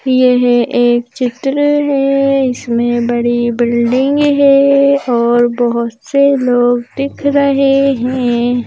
यह एक चित्र है जिसमें बड़ी बिल्डिंग है और बहुत से लोग दिख रहे हैं।